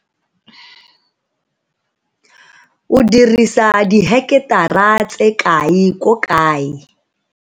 O dirisa diheketara tse kae ko kae?